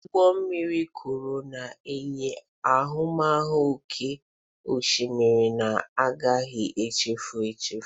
Ụgbọ mmiri krụz na-enye ahụmahụ oké osimiri na-agaghị echefu echefu.